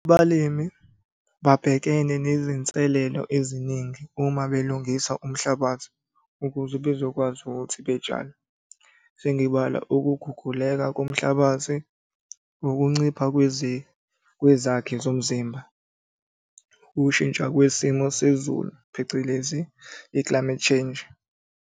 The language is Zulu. Abalimi babhekene nezinselelo eziningi uma belungisa umhlabathi, ukuze bezokwazi ukuthi betshale. Sengibala ukuguguleka komhlabathi, ukuncipha kwezakhi zomzimba, ukushintsha kwesimo sezulu phecelezi i-climate change.